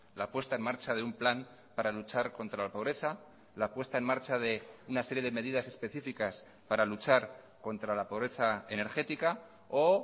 la puesta en marcha de un plan para luchar contra la pobreza la puesta en marcha de una serie de medidas especificas para luchar contra la pobreza energética o